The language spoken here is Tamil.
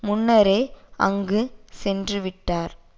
முன்னரே அங்கு சென்றுவிட்டார்